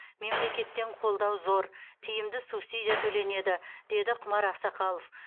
мемлекеттен қолдау зор тиімді субсидия төленеді деді құмар ақсақалов